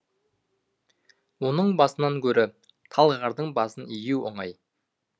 оның басынан гөрі талғардың басын ию оңай